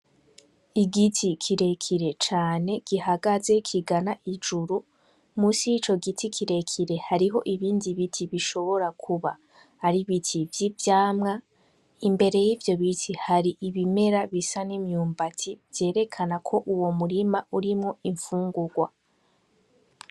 Igiti kirekire cane gihagaze kigana ijuru musi yico giti kirekire hariho ibindi biti bishobora kuba ari ibiti vy'ivyamwa imbere yivyo biti hari ibimera bisa n'imyumbati vyerekana ko uwo murima urimwo imfungugwa